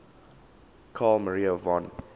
carl maria von